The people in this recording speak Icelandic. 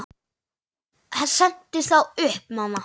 Sendu þá upp, mamma.